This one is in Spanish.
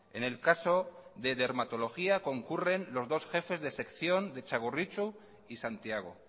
en el caso de dermatología concurren los dos jefes de sección de txagorritxu y santiago